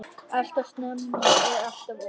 Alltof snemma og alltof ung.